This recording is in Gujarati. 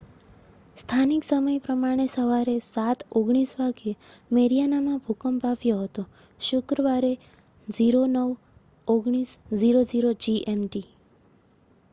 સ્થાનિક સમય પ્રમાણે સવારે 07: 19 વાગ્યે મેરિઆનામાં ભૂકંપ આવ્યો હતો શુક્રવારે 09: 19: 00 જીએમટી